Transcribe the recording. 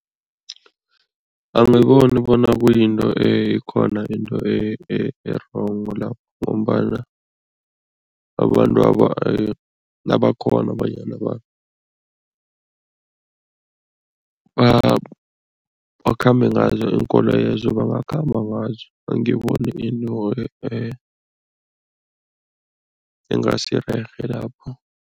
Angiboni bona kuyinto ekhona into e-wrong lapho ngombana abantwaba nabakghona bonyana bakhambe ngazo iinkoloyezo bangakhamba ngazo, angiboni into engasirerhe lapho.